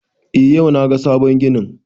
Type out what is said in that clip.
Eh yau na ga sabon ginin